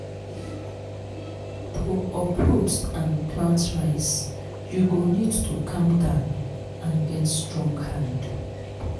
to uproot and plant rice you go need to calm down and get strong hand.